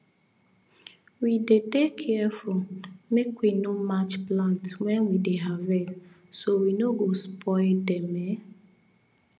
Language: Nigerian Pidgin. we dey dey careful make we no match plants when we dey harvest so we no go spoil dem um